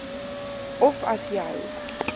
of as jou